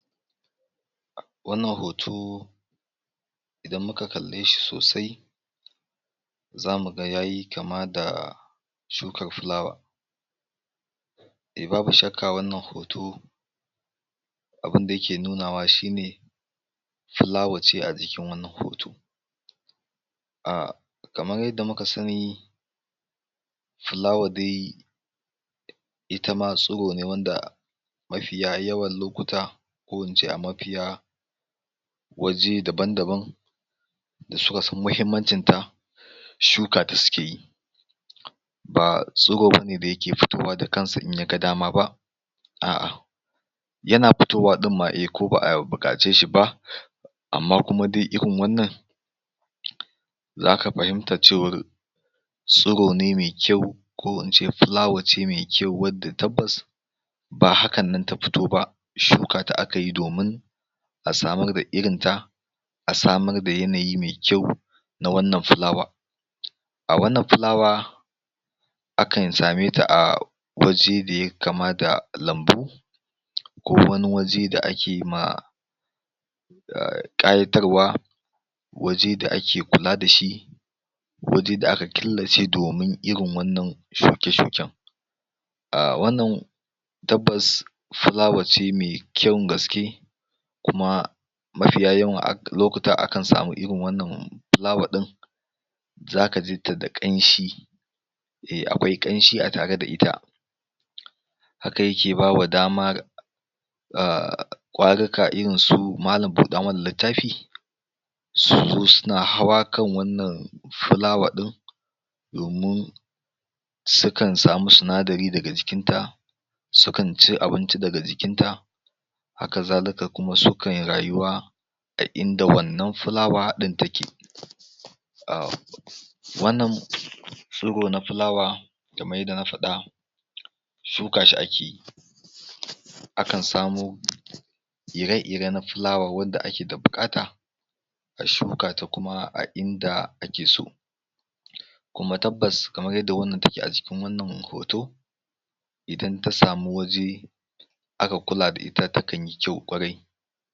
um Wannan hoto, idan muka kalle shi sosai zamu ga yayi kama da shukar filawa. Eh babu shakka wannan hoto, abunda yake nunawa shine fulawace a jikin wannan hoto, um kamar yadda muka sani fulawa dai itama tsiro ne wanda mafiya yawan lokuta, ko in ce a mafiya waje daban-daban da suka san muhimmancinta, shukata suke yi. ba tsirone da yake fitowa da kansa ba in ya ga dama ba a'a yana fitowa ɗimma a ko ba'a buƙace shi ba amma kuma dai irin wannan zaka fahimta cewar tsirone mai kyau, ko ince filawace mai kyau wadda tabbas ba hakannan ta fito ba, shukata akayi domin a samar da irinta, a samar da yanayi mai kyau, na wannan fulawa. um wannan fulawa, akan same ta a waje da ya kama da lambu, ko wani waje da akema um] ƙayatarwa, waje da ake kula da shi, waje da aka killace domin irin wannan shuke-shuken. um wannan tabbasa fulawa ce me kyan gaske, kuma mafiya yawan lokuta akan sami irin wannan fulawa ɗin zaka jita da ƙanshi, ehh akwai ƙamshi a tare da ita, haka yake bawa damar um ƙwarika irinsu malam buɗa mana littafi, su zo suna hawa kan wannan fulawa ɗin, domin sukan samu sinadari daga jikinta, sukan ci abinci daga jikinta, haka zalika kuma su kai rayuwa ta inda wannan fulawa ɗin take. um wannan tsiro na fulawa, kamar yadda na faɗa shuka shi akeyi, akan samo ire-iren fulawa wadda ake da buƙata, a shukata kuma a inda ake so, kuma tabbas kamar yadda wannan take a jikin wannan hoto, idan ta samu waje aka kula da ita, takan yi kyau ƙwarai.